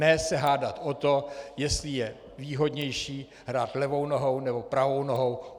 Ne se hádat o to, jestli je výhodnější hrát levou nohou, nebo pravou nohou.